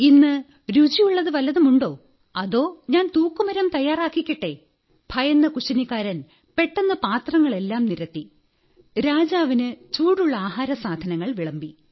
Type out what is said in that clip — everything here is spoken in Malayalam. ഇന്ന് രുചിയുള്ളതു വല്ലതുമുണ്ടോ അതോ ഞാൻ തൂക്കുമരം തയ്യാറാക്കിക്കട്ടേ ഭയന്ന കുശിനിക്കാരൻ പെട്ടെന്ന് പാത്രങ്ങളെല്ലാം നിരത്തി രാജാവിന് ചൂടുള്ള ആഹാരസാധനങ്ങൾ വിളമ്പി